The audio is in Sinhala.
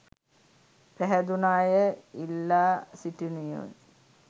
පැහැදුන අය ඉල්ලා සිටිනුයේ...